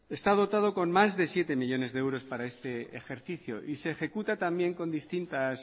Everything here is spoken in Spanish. está dotado con más de siete millónes de euros para este ejercicio y se ejecuta también con distintos